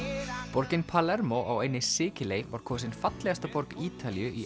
borgin Palermo á eynni Sikiley var kosin fallegasta borg Ítalíu í